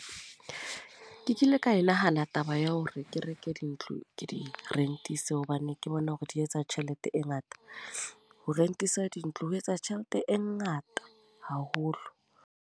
Ke kile ka e nahana taba ya hore ke reke dintlo, ke di-rent-ise. Hobane ke bona hore di etsa tjhelete e ngata. Ho rent-isa dintlo ho etsa tjhelete e ngata haholo.